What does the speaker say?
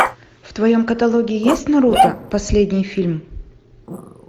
в твоем каталоге есть наруто последний фильм